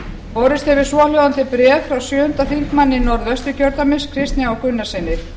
borist hefur svohljóðandi bréf frá sjötti þingmaður norðausturkjördæmis kristni h gunnarssyni